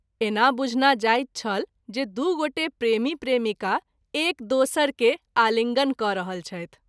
ऐना बुंझना जाइत छल जे दू गोटे प्रेमी प्रेमिका एक दोसर के आलिंगन क’ रहल छथि।